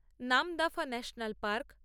Namdapha national park